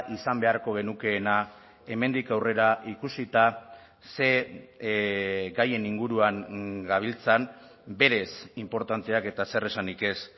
izan beharko genukeena hemendik aurrera ikusita ze gaien inguruan gabiltzan berez inportanteak eta zer esanik ez